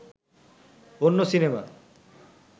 অন্য সিনেমা